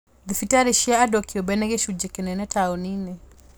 thibitarĩ cia andũ kĩũmbe nĩ gĩcunjĩ kĩnene taũni-inĩ